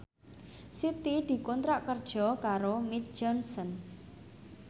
Siti dikontrak kerja karo Mead Johnson